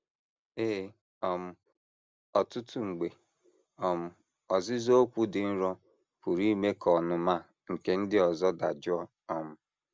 Ee, um ọtụtụ mgbe, um “ ọzịza okwu dị nro ” pụrụ ime ka ọnụma nke ndị ọzọ dajụọ um.